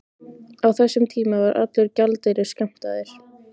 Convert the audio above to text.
Á þessum tíma var allur gjaldeyrir skammtaður.